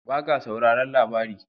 Ba ka sauraran labari??